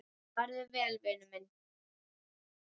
Farðu vel, vinur.